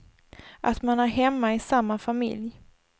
Att man är hemma i samma familj.